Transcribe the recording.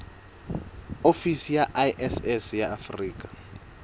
ofisi ya iss ya afrika